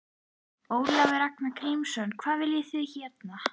Ólafur Ragnar Grímsson: Hvað viljið þið hérna?